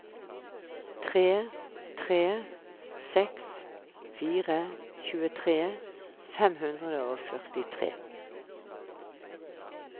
tre tre seks fire tjuetre fem hundre og førtitre